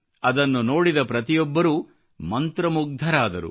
ಅದನ್ನು ನೋಡಿದ ಪ್ರತಿಯೊಬ್ಬರೂ ಮಂತ್ರಮುಗ್ಧರಾದರು